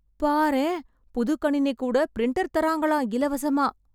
பாரேன் புது கணினி கூட பிரிண்டர் தரங்காலம் இலவசமா